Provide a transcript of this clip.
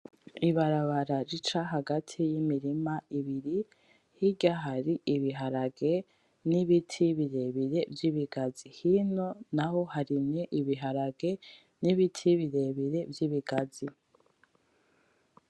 Ibarabara rica hagati yimirima ibiri hirya hari ibiharage nibiti birebire vyibigazi hino naho harimye ibiharage nibiti birebire vyibigazi.